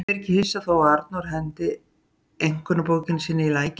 Ég er ekki hissa þó að Arnór henti einkunnabókinni sinni í lækinn.